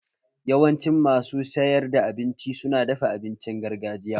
Yawancin masu sayar da abinci su na dafa abincin gargajiya